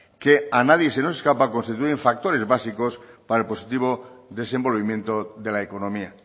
que a nadie se nos escapa constituyen factores básicos para el positivo desenvolvimiento de la economía